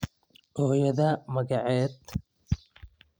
Hooyadaa magaced?